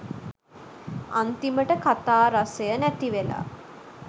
අන්තිමට කතා රසය නැති වෙලා